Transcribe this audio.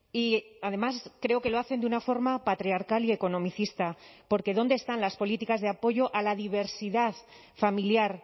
y además creo que lo hacen de una forma patriarcal y economicista porque dónde están las políticas de apoyo a la diversidad familiar